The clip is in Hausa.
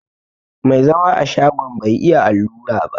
Mai zama a shagon bai iya allura ba.